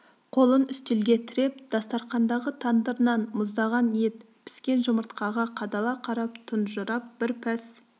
қолын үстелге тіреп дастарқандағы тандыр нан мұздаған ет піскен жұмыртқаға қадала қарап тұнжырап бір пәс